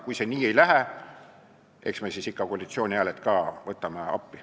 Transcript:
Kui see nii ei lähe, eks me siis võtame koalitsiooni hääled ka appi.